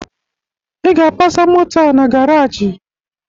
Ị ga-apasa moto a na garaajị!